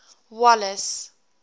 wallace